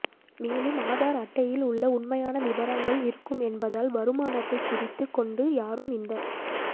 மேலும் ஆதார் அட்டையில் உள்ள உண்மையான விவரங்கள் இருக்கும் என்பதால் வருமானத்தை குறைத்து கொண்டு யாரும் இந்த